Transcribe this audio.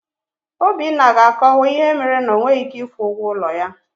Obinna ga-akọwa ihe mere na o nweghị ị́ké ịkwụ ụgwọ ụlọ ya.